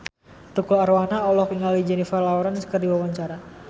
Tukul Arwana olohok ningali Jennifer Lawrence keur diwawancara